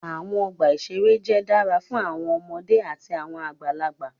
Awọn ọgba iṣere jẹ dara fun awọn ọmọde ati awọn agbalagba